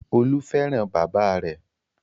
Olú fẹ́ràn bàbá rẹ̀.